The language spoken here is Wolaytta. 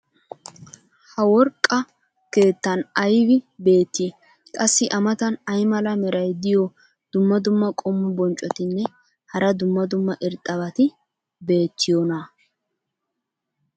ha worqqa keettan aybi beetii? qassi a matan ay mala meray diyo dumma dumma qommo bonccotinne hara dumma dumma irxxabati beetiyoonaa?